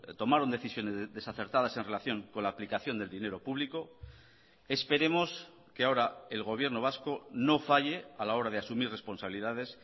tomaron decisiones desacertadas en relación con la aplicación del dinero público esperemos que ahora el gobierno vasco no falle a la hora de asumir responsabilidades